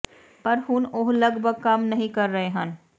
ਪਰ ਹੁਣ ਉਹ ਲਗਭਗ ਕੰਮ ਨਹੀ ਕਰ ਰਹੇ ਹਨ